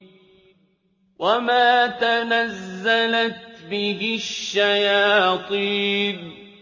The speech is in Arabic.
وَمَا تَنَزَّلَتْ بِهِ الشَّيَاطِينُ